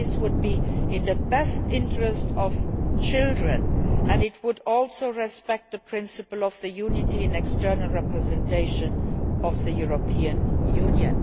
this would be in the best interest of children and it would also respect the principle of the unity and external representation of the European Union.